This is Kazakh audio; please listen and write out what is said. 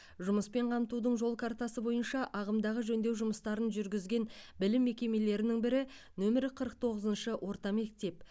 жұмыспен қамтудың жол картасы бойынша ағымдағы жөндеу жұмыстарын жүргізген білім мекемелерінің бірі нөмірі қырық тоғызыншы орта мектеп